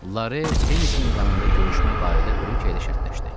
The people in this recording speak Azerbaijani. Lare tennis meydanında görüşmək barədə Brikiye ilə şərtləşdi.